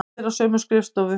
Allir á sömu skrifstofu.